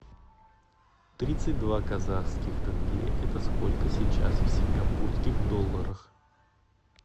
тридцать два казахских тенге это сколько сейчас в сингапурских долларах